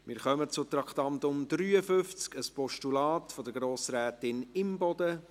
Wir kommen zum Traktandum 53, ein Postulat von Grossrätin Imboden.